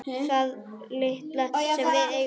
Það litla sem við eigum.